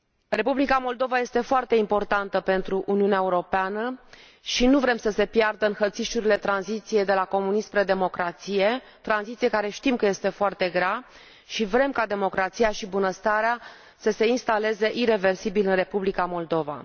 Republica Moldova este foarte importantă pentru Uniunea Europeană și nu vrem să se piardă în hățișurile tranziției de la comunism spre democrație, tranziție care știm că este foarte grea și vrem ca democrația și bunăstarea să se instaleze ireversibil în Republica Moldova.